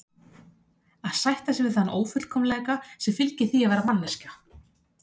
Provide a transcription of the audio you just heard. Að sætta sig við þann ófullkomleika sem fylgir því að vera manneskja.